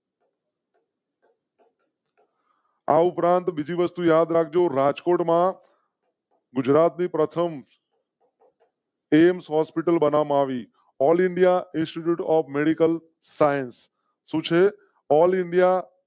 આ ઉપરાંત બીજી વસ્તુ યાદ રાખ જો રાજકોટ માં. ગુજરાત ની પ્રથમ . એમ્સ હોસ્પિટલ બનાવી all indian institute of medical science all india